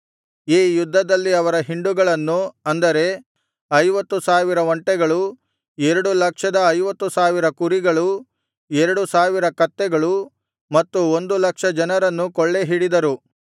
ಈ ಯುದ್ಧದಲ್ಲಿ ಅವರ ಹಿಂಡುಗಳನ್ನು ಅಂದರೆ ಐವತ್ತು ಸಾವಿರ ಒಂಟೆಗಳು ಎರಡು ಲಕ್ಷದ ಐವತ್ತು ಸಾವಿರ ಕುರಿಗಳೂ ಎರಡು ಸಾವಿರ ಕತ್ತೆಗಳು ಮತ್ತು ಒಂದು ಲಕ್ಷ ಜನರನ್ನೂ ಕೊಳ್ಳೆಹಿಡಿದರು